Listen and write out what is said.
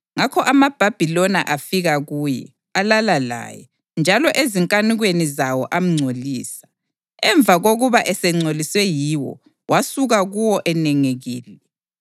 Ngakho amaBhabhiloni afika kuye, alala laye, njalo ezinkanukweni zawo amngcolisa. Emva kokuba esengcoliswe yiwo, wasuka kuwo enengekile.